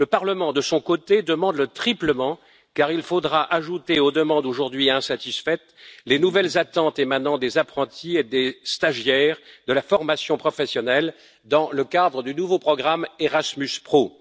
Le Parlement de son côté, demande le triplement car il faudra ajouter aux demandes aujourd'hui insatisfaites, les nouvelles attentes émanant des apprentis et des stagiaires de la formation professionnelle, dans le cadre du nouveau programme Erasmus Pro.